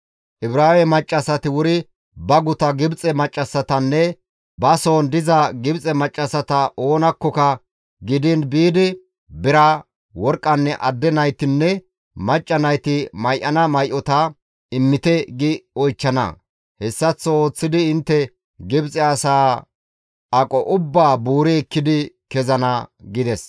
Ibraawe maccassati wuri ba guta Gibxe maccassatanne ba soon diza Gibxe maccassata oonakkoka gidiin biidi bira, worqqanne adde naytinne macca nayti may7ana may7ota, ‹Immite› gi oychchana. Hessaththo ooththidi intte Gibxe asaa aqo ubbaa buuri ekkidi kezana» gides.